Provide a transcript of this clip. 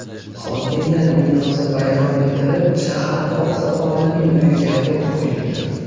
Hokimiyat binosi vayron etilib, shahar oqsoqolining uyiga o‘t qo‘yilgan.